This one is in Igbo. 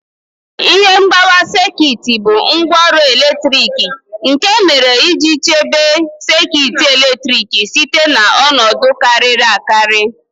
Ihe mgbawa sekit bụ ngwaọrụ eletrik nke e mere iji chebe sekit eletrik site na ọnọdụ kariri akari